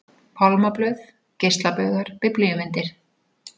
Pálmablöð, geislabaugar, biblíumyndir.